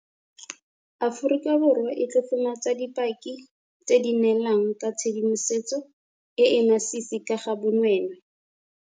Aforika Borwa e tlotlomatsa dipaki tse di neelang ka tshedimosetso e e masisi ka ga bonweenwee.